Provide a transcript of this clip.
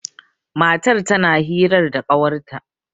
matar tana hirar da kawarta